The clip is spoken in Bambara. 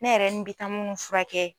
Ne yɛrɛ nin bɛ taa munnu fura kɛ